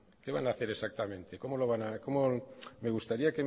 qué van a hacer exactamente cómo lo van me gustaría